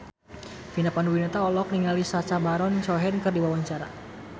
Vina Panduwinata olohok ningali Sacha Baron Cohen keur diwawancara